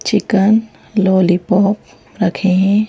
Chicken lollipop रखे है।